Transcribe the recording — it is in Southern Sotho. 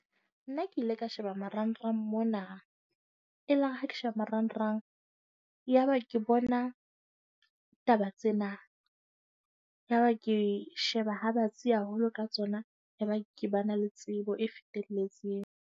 Nna ke ile ka sheba marangrang mona, e la re ha ke sheba marangrang yaba ke bona taba tsena. Yaba ke sheba ha batsi haholo ka tsona. Yaba ke ba na le tsebo e fetelletseng.